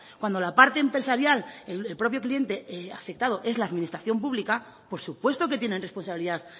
cuando la parte empresarial el propio cliente afectado es la administración pública por supuesto que tienen responsabilidad